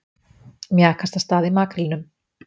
Mjakast af stað í makrílnum